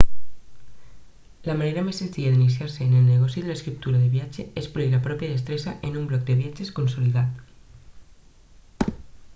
la manera més senzilla d'iniciar-se en el negoci de l'escriptura de viatge és polir la pròpia destresa en un blog de viatges consolidat